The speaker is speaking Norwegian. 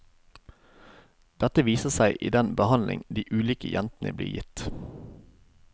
Dette viser seg i den behandling de ulike jentene blir gitt.